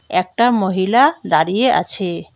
একটা মহিলা দাঁড়িয়ে আছে।